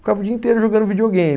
Ficava o dia inteiro jogando videogame.